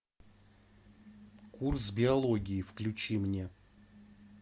курс биологии включи мне